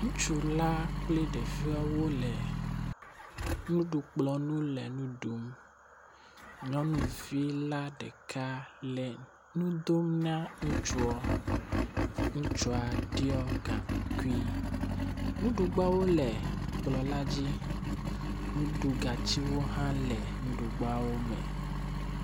Ŋutsu la kple ɖeviawo le nuɖukplɔ ŋu, nyɔnuvi la ɖeka le nudom na ŋutsuɔ. Ŋutsua ɖiɔ gaŋkui, nuɖugbawo le kplɔ la dzi, nuɖugatsiwo hã le nuɖugbawo me.